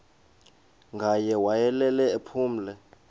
ngaye wayelele ephumle